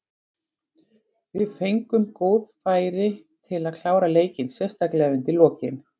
Við fengum góð færi til að klára leikinn, sérstaklega undir lokin.